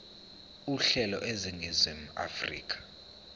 uhlelo eningizimu afrika